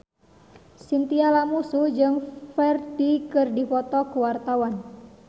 Chintya Lamusu jeung Ferdge keur dipoto ku wartawan